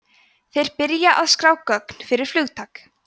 þeir byrja að skrá gögn fyrir flugtak